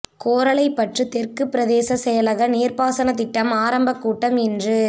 கோரளைப்பற்று தெற்கு பிரதேச செயலக நீர்பாசனத் திட்ட ஆரம்பக் கூட்டம் இன்று